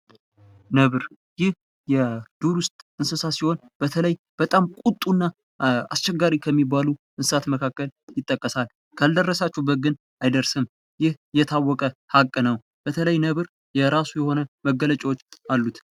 ነብር ይህ የዱር ዉስጥ እንስሳ ሲሆን በተለይ በጣም ቁጡ እና አስቸጋሪ ከሚባሉ እንስሣት መካከል ይጠቀሳል፤ ካልደረሳችሁበት ግን አይደርስም ይህ የታወቀ ሃቅ ነው። በተለይ ነብር የራሱ የሆነ መገለጫዎች አሉት።